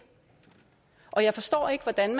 og jeg forstår ikke hvordan